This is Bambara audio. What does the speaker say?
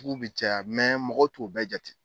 Jugu bɛ caya mɔgɔ t'o bɛɛ jate.